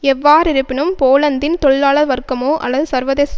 எவ்வாறிருப்பினும் போலந்தின் தொழிலாள வர்க்கமோ அல்லது சர்வதேச